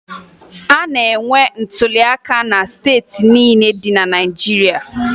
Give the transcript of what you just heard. A na-enwe ntụliaka na steeti niile dị na Naịjirịa